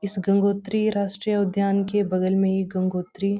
इस गंगोत्रीय राष्ट्रीय उद्यान के बगल में एक गंगोत्री --